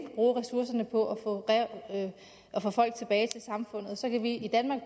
bruge ressourcerne på at få folk tilbage til samfundet og så kan vi i danmark